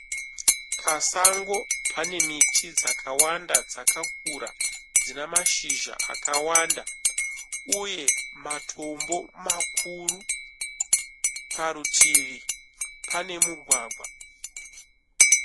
Pasango pane miti dzakawanda dzakakura dzina mashizha akawanda uye matombo makuru. Parutivi pane mugwagwa.